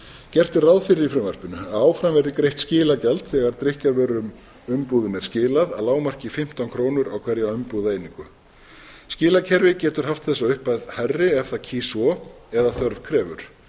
gert er ráð fyrir í frumvarpinu að áfram verði greitt skilagjald þegar drykkjarvöruumbúðum er skilað að lágmarki fimmtán krónur á hverja umbúðaeiningu skilakerfi getur haft þessa upphæð hærri ef það kýs svo eða þörf krefur